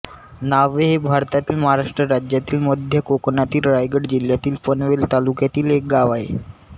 न्हावे हे भारतातील महाराष्ट्र राज्यातील मध्य कोकणातील रायगड जिल्ह्यातील पनवेल तालुक्यातील एक गाव आहे